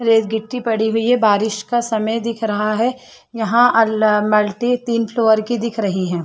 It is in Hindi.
रेतगिट्टी पड़ी हुई है बारिश का समय दिख रहा है यहाँ अल मल्टी तीन फ्लोवर की दिख रही है।